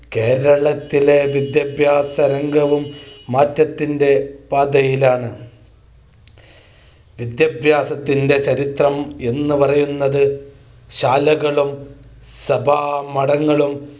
കേരളത്തിലെ വിദ്യാഭ്യാസ രംഗവും മാറ്റത്തിന്റെ പാതയിലാണ്. വിദ്യാഭ്യാസ ചരിത്രം എന്നുപറയുന്നത് ശാലകളും സഭാമഠങ്ങളും